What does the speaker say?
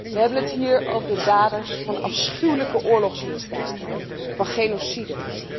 We hebben het hier over de daders van afschuwelijke oorlogsmisdaden, van genocide.